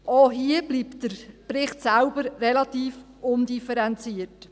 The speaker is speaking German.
Auch hier bleibt der Bericht selbst relativ undifferenziert.